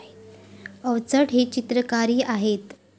अवचट हे चित्रकारही आहेत.